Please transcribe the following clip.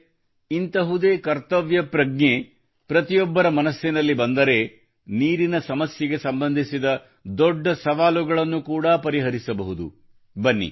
ಸ್ನೇಹಿತರೇ ಇಂತಹುದೇ ಕರ್ತವ್ಯ ಭಾವನೆಯು ಪ್ರತಿಯೊಬ್ಬರ ಮನಸ್ಸಿನಲ್ಲಿ ಬಂದರೆ ನೀರಿನ ಸಮಸ್ಯೆಗೆ ಸಂಬಂಧಿಸಿದ ದೊಡ್ಡ ಸವಾಲುಗಳನ್ನು ಕೂಡ ಪರಿಹರಿಸಬಹುದು